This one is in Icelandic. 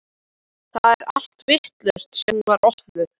Það er allt vitlaust síðan hún var opnuð.